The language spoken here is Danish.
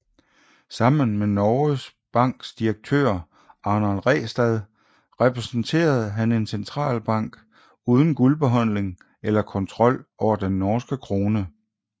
Sammen med Norges Banks direktør Arnold Ræstad repræsenterede han en centralbank uden guldbeholdning eller kontrol over den norske krone